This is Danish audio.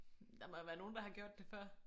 Der må jo være nogen der har gjort det før